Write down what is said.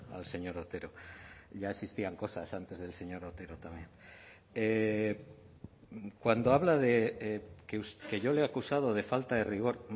al señor otero ya existían cosas antes del señor otero también cuando habla de que yo le he acusado de falta de rigor